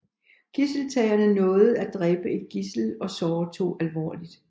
Gidseltagerne nåede at dræbe et gidsel og såre to alvorligt